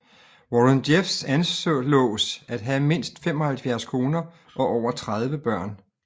Warren Jeffs anslås at have mindst 75 koner og over 30 børn